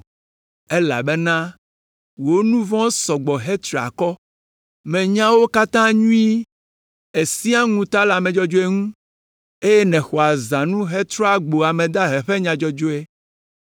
Elabena wò nu vɔ̃wo sɔ gbɔ hetri akɔ. Menya wo katã nyuie. Èsẽa ŋuta le ame dzɔdzɔe ŋu, eye nèxɔa zãnu hetrɔa gbo ame dahe ƒe nya dzɔdzɔe,